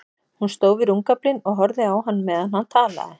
Hún stóð við rúmgaflinn og horfði á hann meðan hann talaði.